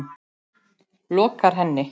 lokar henni.